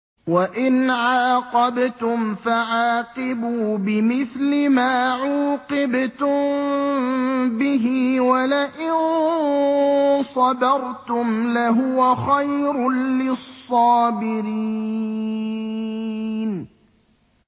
وَإِنْ عَاقَبْتُمْ فَعَاقِبُوا بِمِثْلِ مَا عُوقِبْتُم بِهِ ۖ وَلَئِن صَبَرْتُمْ لَهُوَ خَيْرٌ لِّلصَّابِرِينَ